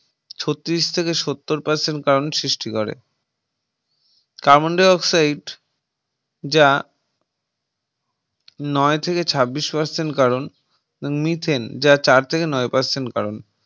ছত্তিরিশ থেকে সত্তর Percent কারণ সৃষ্টি করে Carbon Dioxide যা নয় থেকে ছাব্বিশ Percent কারণ Methane যা চার থেকে নয় Percent কারন